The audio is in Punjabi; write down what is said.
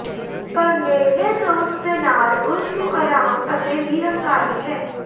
ਪਰ ਨੇੜਲੇ ਦੋਸਤ ਦੇ ਨਾਲ ਉਸ ਨੂੰ ਆਰਾਮ ਅਤੇ ਵੀ ਹੰਕਾਰੀ ਹੈ